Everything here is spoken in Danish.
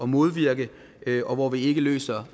modvirke og hvor vi ikke løser